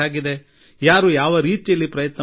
ಯಾರ ಬಳಿ ಏನು ಅನುಭವ ಇದೆ ನೋಡೋಣ